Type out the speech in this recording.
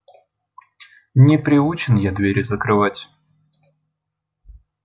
не приучен я двери закрывать